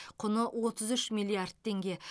құны отыз үш миллиард теңге